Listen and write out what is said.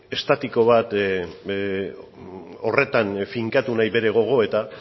estatiko bat horretan finkatu nahi bere gogoeta